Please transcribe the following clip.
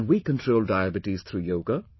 Can we control Diabetes through Yoga